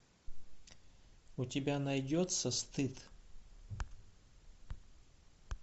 у тебя найдется стыд